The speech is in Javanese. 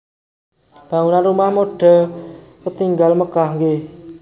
Bangunan Rumah Mode ketingal megah nggih